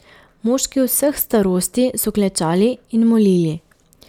Moški vseh starosti so klečali in molili.